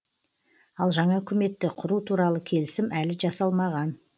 ал жаңа үкіметті құру туралы келісім әлі жасалмаған